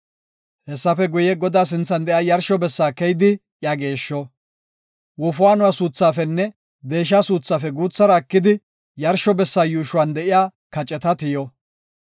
Hessafe guye, Godaa sinthan de7iya yarsho bessa keyidi iya geeshsho. Wofaanuwa suuthaafenne deesha suuthaafe guuthara ekidi, yarsho bessa yuushuwan de7iya kaceta tiyo.